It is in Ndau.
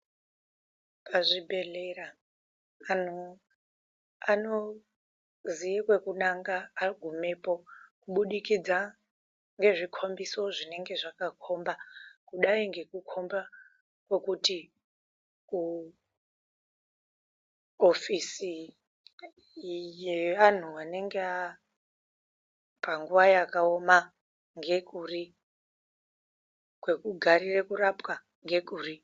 Pazvibhedhlera, anhu anozive kwekunanga agumeyo kubudikidza ngezvikombiso zvinenge zvakakomba, kudai ngekukomba kwokuto ofisi, yeanhu anenge ari panguva yakaoma ndekuri, kwekugarire kurapwaa ngekuri.